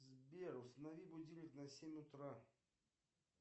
сбер установи будильник на семь утра